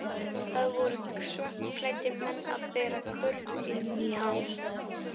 Það voru svartklæddir menn að bera körfu inn í hann.